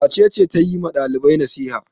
Wace ce ta yi wa ɗalibai nasiha?